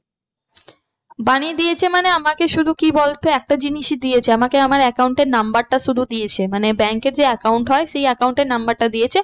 বানিয়ে দিয়েছে মানে আমাকে শুধু কি বলতো একটা জিনিসই দিয়েছে আমাকে আমার account এর number টা শুধু দিয়েছে মানে bank এর যে account হয় সেই account এর number টা দিয়েছে।